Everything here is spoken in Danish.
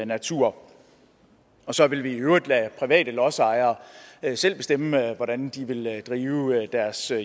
natur og så vil vi i øvrigt lade private lodsejere selv bestemme hvordan de vil drive deres jord